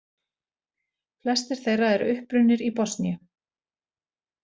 Flestir þeirra eru upprunnir í Bosníu